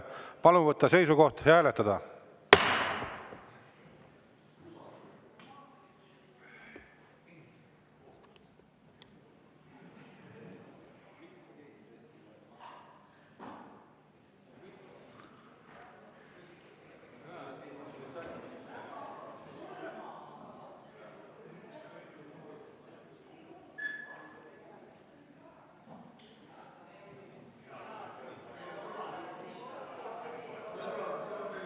Palun võtta seisukoht ja hääletada!